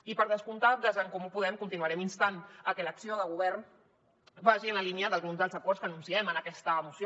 i per descomptat des d’en comú podem continuarem instant a que l’acció de govern vagi en la línia d’alguns dels acords que anunciem en aquesta moció